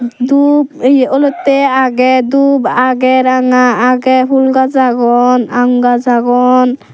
dup yeh olottey aagey dup aagey ranga aagey phool gaj agon aam gaaj agon.